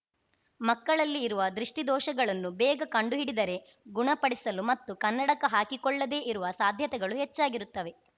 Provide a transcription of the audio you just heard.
ಮಕ್ಕಳಲ್ಲಿ ಇರುವ ದೃಷ್ಠಿದೋಷಗಳನ್ನು ಬೇಗ ಕಂಡುಹಿಡಿದರೆ ಗುಣಪಡಿಸಲು ಮತ್ತು ಕನ್ನಡಕ ಹಾಕಿಕೊಳ್ಳದೇ ಇರುವ ಸಾಧ್ಯತೆಗಳು ಹೆಚ್ಚಾಗಿರುತ್ತವೆ